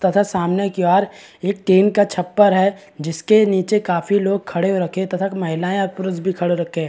तथा सामने की ओर एक टिन का छप्पर है। जिसके नीचे काफी लोग खड़े रखे है तथा महिलाएं और पुरुष भी खड़े रखे है।